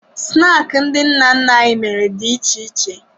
Snaakị ndị nna nna anyị mere dị iche iche